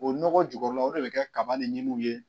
O nɔgɔ jukɔrɔla o de bɛ kɛ kaba ni ɲimiw ye